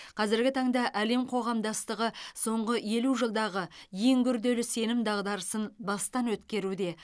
қазіргі таңда әлем қоғамдастығы соңғы елу жылдағы ең күрделі сенім дағдарысын бастан өткеруде